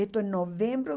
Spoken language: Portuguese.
Isso em novembro